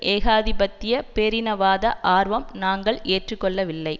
ஏகாதிபத்திய பேரினவாத ஆர்வம் நாங்கள் ஏற்று கொள்ளவில்லை